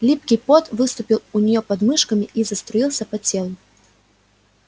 липкий пот выступил у неё под мышками и заструился по телу